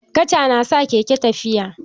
Kaca na sa keke tafiya.